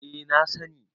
eh na sani